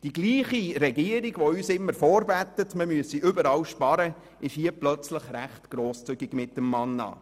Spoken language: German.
Die gleiche Regierung, die uns immer vorbetet, man müsse überall sparen, ist auf einmal recht grosszügig mit der Verteilung des Mannas.